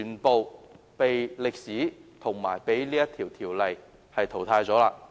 被歷史及《條例》淘汰了。